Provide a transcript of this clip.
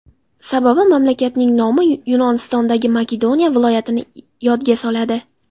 Sababi mamlakatning nomi Yunonistondagi Makedoniya viloyatini yodga soladi.